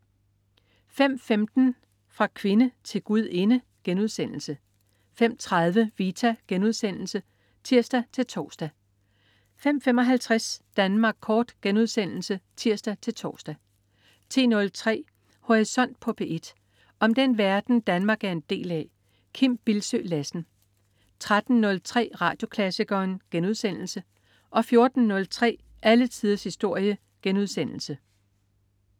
05.15 Fra kvinde til gudinde* 05.30 Vita* (tirs-tors) 05.55 Danmark Kort* (tirs-tors) 10.03 Horisont på P1. Om den verden, Danmark er en del af. Kim Bildsøe Lassen 13.03 Radioklassikeren* 14.03 Alle tiders historie*